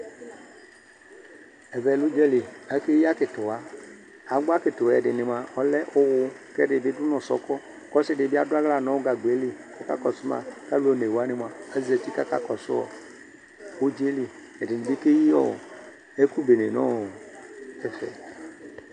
Ɛʋɛ l'udza lɩ Ake yi akitiwa, agbɔ atikitw'ɛdini mua ɔlɛ uwu, k'ɛdi du n'ɔsɔkɔ K'ɔsi di bi adu aɣla nu gagb'eli kakɔsu ma k'al'one wani mua azeti k'aka kɔsu ɔ udz'elɩ edini ke yi ɔ ɛku bene n'ɔɔ ɛfɛ